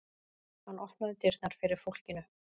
Hann opnaði dyrnar fyrir fólkinu.